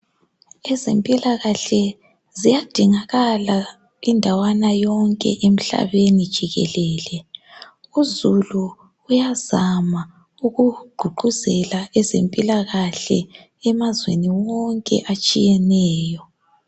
Ezempilakahle ziyadingeka indawana yonke emhlabeni jikelele. Uzulu uyazama ukugqugquzela ezempilakahle emazweni wonke atshiyeneyo.